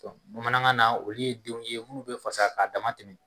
bamanankan na olu ye denw ye olu bi fasa k'a dama tɛmɛn